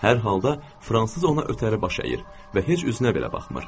Hər halda fransız ona ötəri baş əyir və heç üzünə belə baxmır.